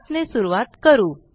7 ने सुरूवात करू